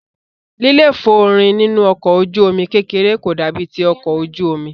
líléfòórìn nínú ọkọ̀ ojú omi kékeré kò dàbí ti ọkọ̀ ojú omi.